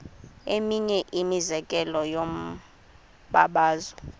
eminye imizekelo yombabazo